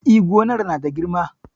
E, gonar na da girma.